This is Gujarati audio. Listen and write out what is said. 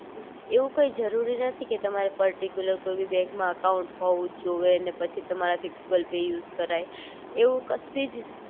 એવું કઈ જરૂરી નથી કે તમારે પર્ટીકયુલર કોઈ ભી બેન્ક માં અકાઉંટ હોવું જ જોવે અને પછી તમારા થી ગૂગલ પે યુઝ કરાય